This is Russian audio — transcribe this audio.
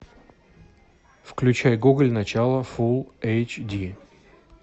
включай гоголь начало фул эйч ди